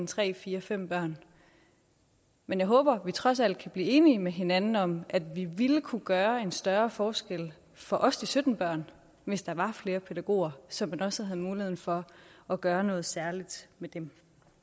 tre fire fem børn men jeg håber at vi trods alt kan blive enige med hinanden om at vi ville kunne gøre en større forskel for også de sytten børn hvis der var flere pædagoger så man også havde muligheden for at gøre noget særligt med dem